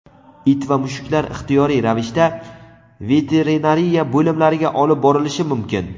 it va mushuklar ixtiyoriy ravishda veterinariya bo‘limlariga olib borilishi mumkin.